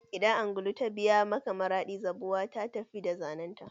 Idan angulu ta biya maka maradi, zabuwa ta tafi da zanenta.